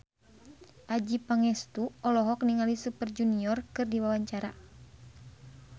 Adjie Pangestu olohok ningali Super Junior keur diwawancara